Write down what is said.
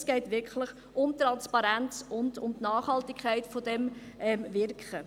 Es geht wirklich um Transparenz und um die Nachhaltigkeit von diesem Wirken.